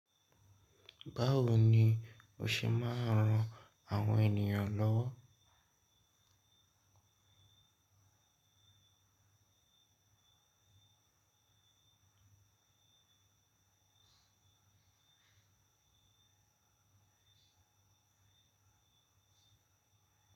Báwo ni o ṣe máa ń ran àwọn ènìyàn lọ́wọ́?